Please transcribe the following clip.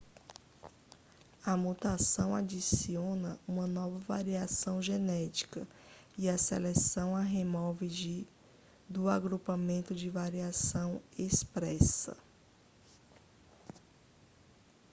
a mutação adiciona uma nova variação genética e a seleção a remove do agrupamento de variação expressa